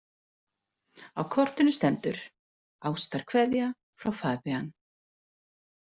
Á kortinu stendur: „Ástarkveðja frá Fabienne“